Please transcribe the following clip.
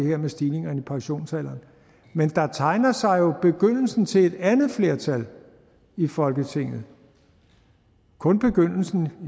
her med stigningerne i pensionsalderen men der tegner sig jo begyndelsen til et andet flertal i folketinget kun begyndelsen